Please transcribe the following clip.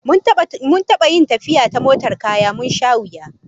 Mun taba yin tafiya ta motar daukar kaya, mun sha wuya